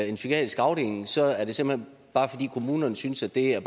en psykiatrisk afdeling så er det såmænd bare fordi kommunerne synes at det er